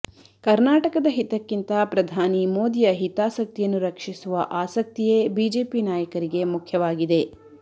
ಕರ್ನಾಟಕದ ಹಿತಕ್ಕಿಂತ ಪ್ರಧಾನಿ ಮೋದಿಯ ಹಿತಾಸಕ್ತಿಯನ್ನು ರಕ್ಷಿಸುವ ಆಸಕ್ತಿಯೇ ಬಿಜೆಪಿ ನಾಯಕರಿಗೆ ಮುಖ್ಯವಾಗಿದೆ